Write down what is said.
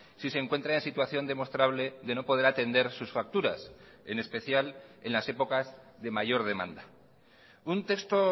si se encuentra en situación demostrable de no poder atender sus facturas en especial en las épocas de mayor demanda un texto